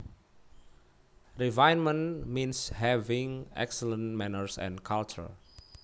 Refinement means having excellent manners and culture